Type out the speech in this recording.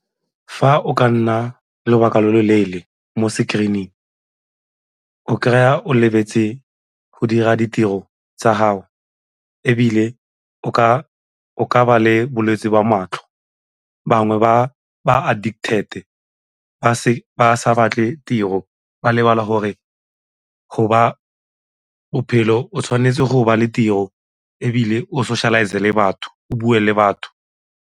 Fa o ka nna lobaka lo lo leele mo screen-ing o kry-a o lebetse go dira ditiro tsa gago ebile o ka ba le bolwetse jwa matlho, bangwe ba addicted ba sa batle tiro ba lebala gore bophelo o tshwanetse gore ba le tiro ebile o socialize le batho, o bue le batho.